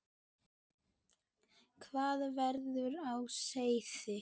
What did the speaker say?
Hvað var á seyði?